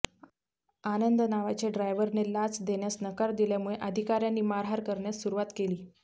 आनंद नावाच्या ड्रायव्हरने लाच देण्यास नकार दिल्यामुळे अधिकार्यांनी मारहाण करण्यास सुरूवात केली